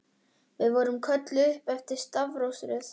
Við vorum kölluð upp eftir stafrófsröð.